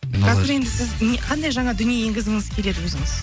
қазір енді сіз қандай жаңа дүние енгізгіңіз келеді өзіңіз